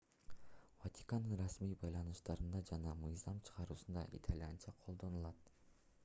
ватикандын расмий байланыштарында жана мыйзам чыгаруусунда итальянча колдонулат